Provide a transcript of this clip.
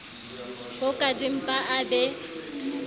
po ka dimpa a be